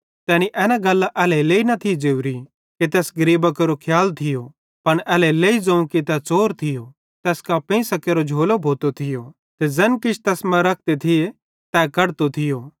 तैनी एना गल्लां एल्हेरेलेइ न थी ज़ोरी कि तैस गरीबां केरो खियाल थियो पन एल्हेरेलेइ ज़ोवं कि तै च़ोर थियो तैस कां पेइंसां केरि झोली भोती थी ते ज़ैन किछ तैस मां रखते थी तै कढतो थियो